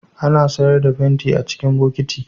Ana sayar da fenti a cikin bokiti